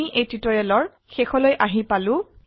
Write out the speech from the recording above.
আমি এই টিউটোৰিয়ালেৰ শেষলৈ আহিলো